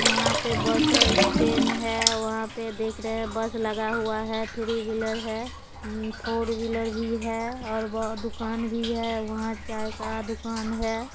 यहां पे bus stand है वहां पे देख रहे हैं बस लगा हुआ है थ्री व्हीलर है उम्म फोर व्हीलर भी है और व दुकान भी है वहां चाय का दुकान है।